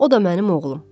O da mənim oğlum.